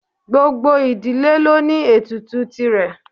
Gbogbo ìdílé ló ní ètùtù tìrẹ.